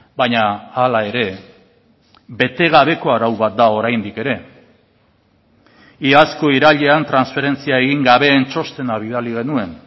baina hala ere bete gabeko arau bat da oraindik ere iazko irailean transferentzia egin gabeen txostena bidali genuen